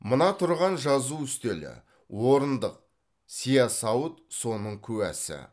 мына тұрған жазу үстелі орындық сиясауыт соның куәсі